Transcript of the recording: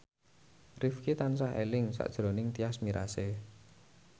Rifqi tansah eling sakjroning Tyas Mirasih